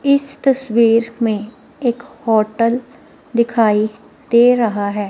इस तस्वीर में एक होटल दिखाई दे रहा है।